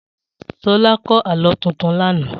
Sola kọ́ Àlọ́ tuntun làná